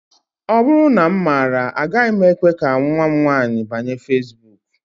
Ọ bụrụ na m maara, agaghị m ekwe ka nnwa m nwaanyị banye feesbuk